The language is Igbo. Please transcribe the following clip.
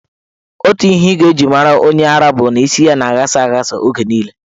Otu ihe ị ga-eji mara onye ara bụ na isi ya na-aghasa aghasa oge niile.